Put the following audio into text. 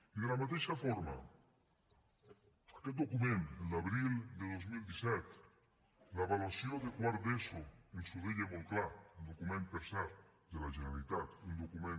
i de la mateixa forma aquest document el d’abril de dos mil disset l’avaluació de quart d’eso ens ho deia molt clar un document per cert de la generalitat un document